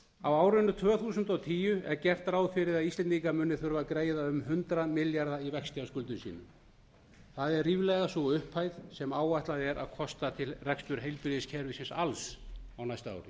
á árinu tvö þúsund og tíu er gert ráð fyrir að íslendingar muni þurfa að greiða um hundrað milljarða í vexti af skuldum sínum það er ríflega sú upphæð sem áætlað er að kosta til reksturs heilbrigðiskerfisins alls á næsta ári